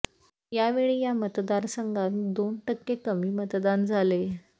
यावेळी या मतदार संघात दोन टक्के कमी मतदान झाले